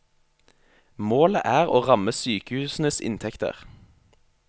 Målet er å ramme sykehusenes inntekter.